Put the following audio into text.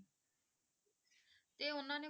ਤੇ ਉਹਨਾਂ ਨੇ